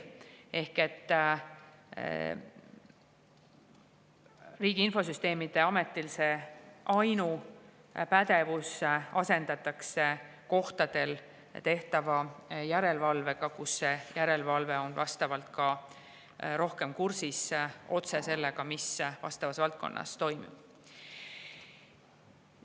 Ehk Riigi Infosüsteemi Ameti ainupädevus asendatakse järelevalvega kohtadel, kus ollakse ka rohkem kursis sellega, mis vastavas valdkonnas toimub.